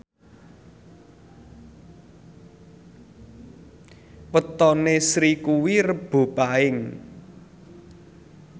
wetone Sri kuwi Rebo Paing